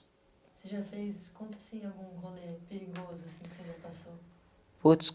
Você já fez... conta assim algum rolê perigoso assim que você já passou? puts...